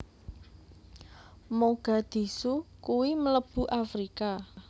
Mogadishu kui mlebune Afrika